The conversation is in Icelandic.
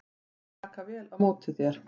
Hún mun taka vel á móti þér.